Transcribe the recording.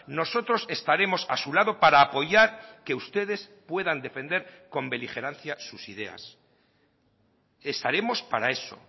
nosotros estaremos a su lado para apoyar que ustedes puedan defender con beligerancia sus ideas estaremos para eso